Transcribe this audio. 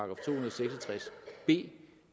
tres b